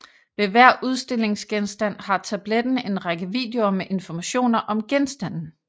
Ved hver udstillingsgenstand har tabletten en række videoer med informationer om genstanden